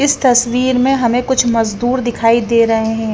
इस तस्वीर में हमें कुछ मजदूर दिखाई दे रहे हैं।